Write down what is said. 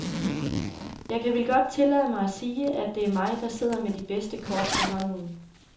Jeg kan vel godt tillade mig at sige, at det er mig, der sidder med de bedste kort på hånden.